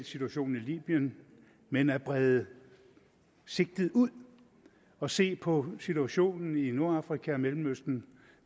situationen i libyen men at brede sigtet ud og se på situationen i nordafrika og mellemøsten